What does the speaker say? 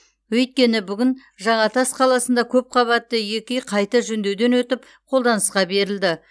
өйткені бүгін жаңатас қаласында көпқабатты екі үй қайта жөндеуден өтіп қолданысқа берілді